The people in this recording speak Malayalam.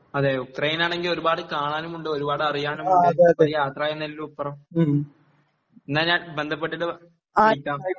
അതേ യുക്രൈൻ ആണെങ്കിൽ ഒരുപാട് കാണാനും ഉണ്ട് ഒരുപാട് അറിയാനുമുണ്ട് ഒരു യാത്ര തന്നെ അല്ല അപ്പുറം എന്നാൽ ഞാൻ ബന്ധപ്പെട്ടിട്ട് വിളിക്കാം